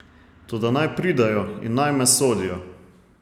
Toda naj pridejo in naj me sodijo.